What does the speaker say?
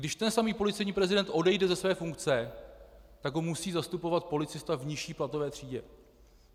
Když ten samý policejní prezident odejde ze své funkce, tak ho musí zastupovat policista v nižší platové třídě.